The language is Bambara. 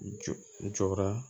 Jɔra